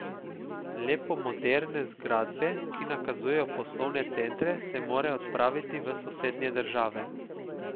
Le po moderne zgradbe, ki nakazujejo poslovne centre, se morajo odpraviti v sosednje države.